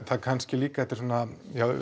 kannski líka þetta svona